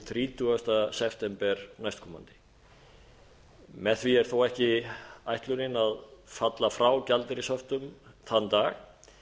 þrítugasta september næstkomandi með því er þó ekki ætlunin að falla frá gjaldeyrishöftum þann dag